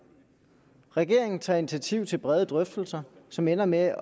regeringen tager initiativ til brede drøftelser som ender med at